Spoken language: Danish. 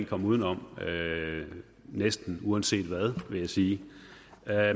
komme uden om næsten uanset hvad vil jeg sige